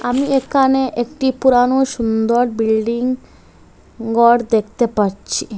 আমি এখানে একটি পুরানো সুন্দর বিল্ডিং ঘর দেখতে পারছি।